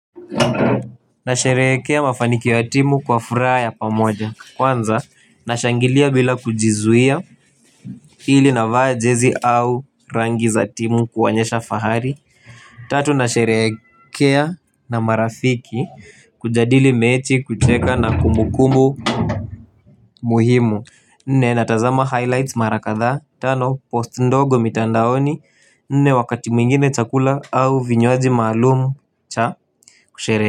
Nasherehekea mafanikio ya timu kwa furaha ya pamoja kwanza nashangilia bila kujizuia. Pili navaa jezi au rangi za timu kuonyesha fahari tatu nasherehekea na marafiki kujadili mechi kucheka na kumbukumbu muhimu. Nne natazama highlights mara kadhaa tano post ndogo mitandaoni nne wakati mwingine chakula au vinywaji maalumu cha kusherehekea.